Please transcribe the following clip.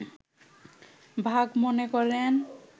ভাগ মনে করেন